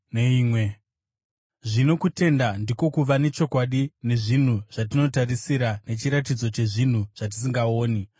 Zvino kutenda ndiko kuva nechokwadi nezvinhu zvatinotarisira, nechiratidzo chezvinhu zvatisingaoni.